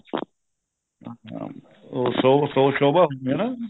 ਹਾਂ ਉਹ ਸ਼ੋ ਸ਼ੋ ਸ਼ੋਭਾ ਹੋਣੀ ਹਨਾ